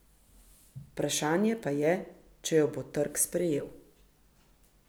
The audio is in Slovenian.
Vprašanje pa je, če jo bo trg sprejel.